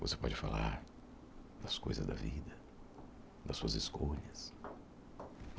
Você pode falar das coisas da vida, das suas escolhas.